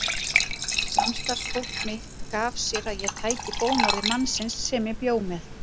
Samstarfsfólk mitt gaf sér að ég tæki bónorði mannsins sem ég bjó með.